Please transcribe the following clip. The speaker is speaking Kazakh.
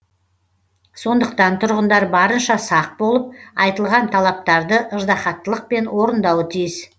сондықтан тұрғындар барынша сақ болып айтылған талаптарды ыждахаттылықпен орындауы тиіс